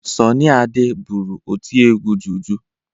Sọnị Ade bụrụ otiegwu juju.